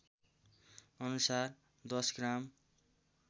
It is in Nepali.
अनुसार दश ग्राम